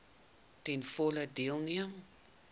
ten volle deelneem